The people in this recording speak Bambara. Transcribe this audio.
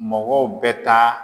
Mɔgɔw bɛ taa